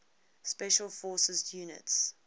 special forces units